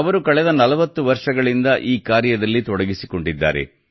ಅವರು ಕಳೆದ 40 ವರ್ಷಗಳಿಂದ ಈ ಕಾರ್ಯದಲ್ಲಿ ತೊಡಗಿಸಿಕೊಂಡಿದ್ದಾರೆ